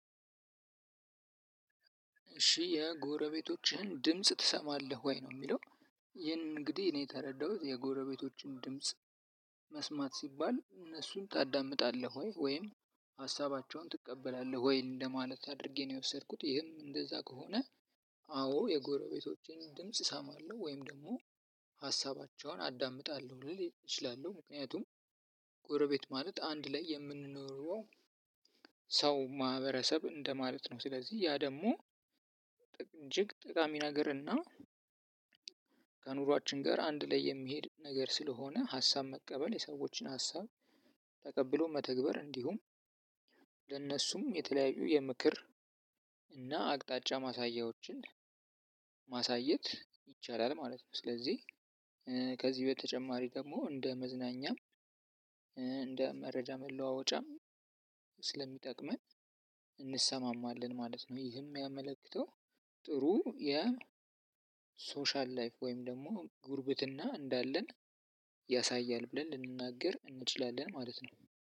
እሺ የጎረቤቶችህን ድምጽ ትሰማለህ ወይ ነው የሚለው? ይህን እንግዲህ እኔ ተረዳሁት የጎረቤቶችን ድምጽ መስማት ሲባል እነሱን ታዳምጣለህ ወይ ወይም ሀሳባቸውን ትቀበላለህ ወይ እንደማለት አድርጌ ነው የወሰድኩት ይህም እንደዛ ከሆነ። አዎ የጎረቤቶቼን ድምጽ እሰማለሁ ወይም ደግሞ ሀሳባቸውን አዳምጣለሁ ልል እችላለሁ። ምክንያቱም ጎረቤት ማለት አንድ ላይ የምንኖረው ሰው ማህበረሰብ እንደማለት ነው። ስለዚህ ያ ደግሞ እጅግ ጠቃሚ ነገር እና ከኑሯችን ጋር አንድ ላይ የሚሄድ ነገር ስለሆነ ሀሳብ መቀበል የሰዎችን ሀሳብ ተቀብሎ መተግበር እንዲሁም ለነሱም የተለያዩ የምክር እና አቅጣጫ ማሳያዎችን ማሳየት ይቻላል ማለት ነው። ስለዚህ ከዚህ በተጨማሪ ደግሞ እንደ መዝናኛም እንደመረጃ መለዋወጫም ስለሚጠቅመን እንሰማማለም ማለት ነው። ጥሩ የሶሻል ላይፍ ወይም ደግሞ ጉርብትና እንዳለን ያሳያል ብለን ልንናገር እንችላለን ማለት ነው።